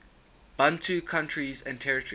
bantu countries and territories